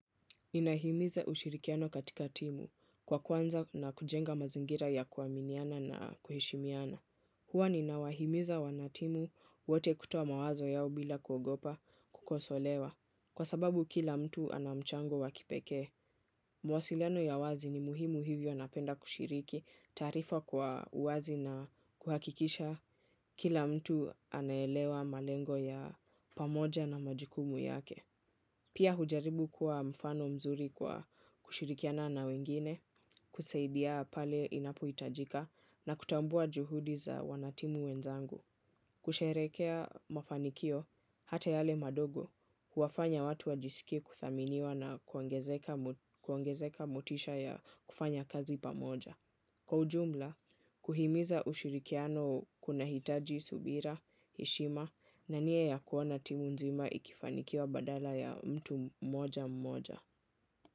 Inahimiza ushirikiano katika timu kwa kwanza na kujenga mazingira ya kuaminiana na kuheshimiana. Huwa ninawahimiza wanatimu wote kutoa mawazo yao bila kuogopa kukosolewa. Kwa sababu kila mtu ana mchango wakipekee. Mawasiliano ya wazi ni muhimu. Hivyo napenda kushiriki taarifa kwa uwazi na kuhakikisha kila mtu anaelewa malengo ya pamoja na majukumu yake pia hujaribu kuwa mfano mzuri kwa kushirikiana na wengine, kusaidia pale inapohitajika na kutambua juhudi za wanatimu wenzangu. Kusherekea mafanikio, hata yale madogo, huwafanya watu wajisikie kuthaminiwa na kuongezeka motisha ya kufanya kazi pamoja. Kwa ujumla, kuhimiza ushirikiano kunahitaji subira, heshima na nia ya kuona timu nzima ikifanikiwa badala ya mtu mmoja mmoja.